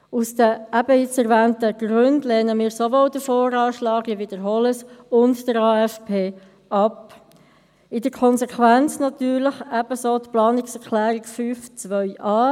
Aus den eben erwähnten Gründen lehnen wir sowohl den VA – ich wiederhole es – als auch den AFP ab und in der Konsequenz natürlich ebenso die Planungserklärung 5.2a.